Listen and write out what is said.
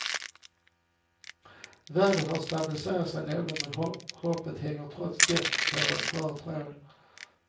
Vädret har stabiliserat sig något, men hoppet hänger trots det på en skör tråd.